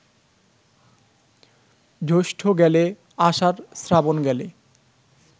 জ্যৈষ্ঠ গেলে, আষাঢ়, শ্রাবণ গেলে